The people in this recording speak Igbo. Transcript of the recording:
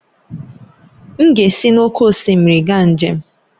M ga-esi n'oké osimiri gaa njem